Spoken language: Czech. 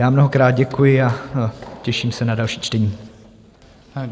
Já mnohokrát děkuji a těším se na další čtení.